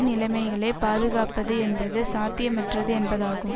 நிலைமைகளைக் பாதுகாப்பது என்பது சாத்தியமற்றது என்பதாகும்